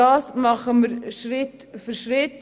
Das tun wir Schritt für Schritt.